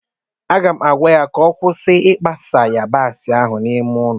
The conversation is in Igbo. m ga-agwa ya ka ọ kwụsị ikpa sa yabasi ahụ n'ime ụlọ